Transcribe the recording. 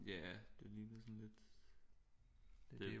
Ja det ligner sådan lidt